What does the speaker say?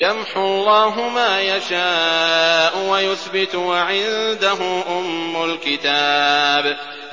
يَمْحُو اللَّهُ مَا يَشَاءُ وَيُثْبِتُ ۖ وَعِندَهُ أُمُّ الْكِتَابِ